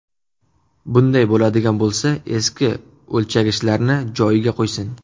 Bunday bo‘ladigan bo‘lsa, eski o‘lchagichlarni joyiga qo‘ysin.